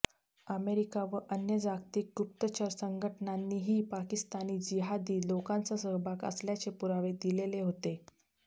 America व अन्य जागतिक गुप्तचर संघटनांनीही पाकिस्तानी जिहादी लोकांचा सहभाग असल्याचे पुरावे दिलेले होते